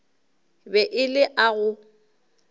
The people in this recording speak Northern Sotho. be e le a go